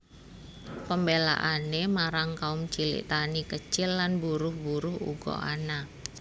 Pembelaane marang kaum cilik tani kecil lan buruh buruh uga ana